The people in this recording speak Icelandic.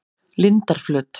Lindarflöt